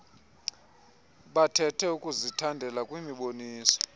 bathethe ukuzithandela kwimiboniso